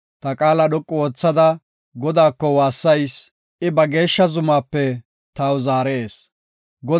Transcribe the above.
Ta qaala dhoqu oothada Godaako waassayis. I ba geeshsha zumaape taw zaarees. Salah